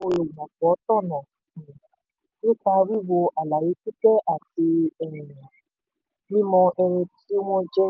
olùgbapò tọ̀nà um nípa wíwo um àlàyé pípé àti um mímọ ẹni tí wọ́n jẹ́.